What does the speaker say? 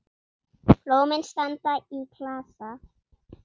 Blómin standa í klasa.